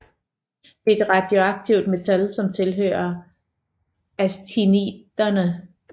Det er et radioaktivt metal som tilhører actiniderne